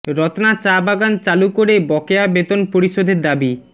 রত্না চা বাগান চালু করে বকেয়া বেতন পরিশোধের দাবি